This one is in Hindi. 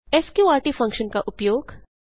स्कॉर्ट फंक्शन का उपयोग